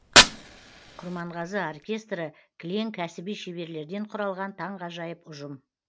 құрманғазы оркестрі кілең кәсіби шеберлерден құралған таңғажайып ұжым